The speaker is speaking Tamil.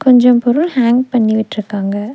கொஞ்சம் பொருள் ஹாங் பண்ணி விட்ருக்காங்க.